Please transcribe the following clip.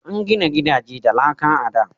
An gina gidaje da laka a da.